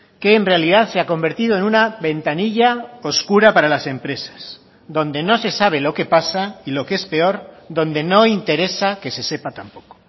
que en realidad se ha convertido en una ventanilla oscura para las empresas donde no se sabe lo qué pasa y lo que es peor donde no interesa que se sepa tampoco